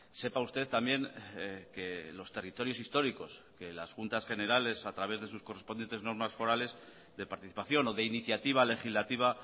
sepa usted también que los territorios históricos que las juntas generales a través de sus correspondientes normas forales de participación o de iniciativa legislativa